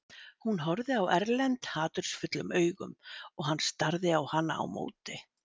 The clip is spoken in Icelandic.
Hún horfði á Erlend hatursfullum augum og hann starði á hana á móti.